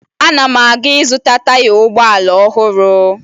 Ana m aga ịzụta taya ụgbọala ọhụrụ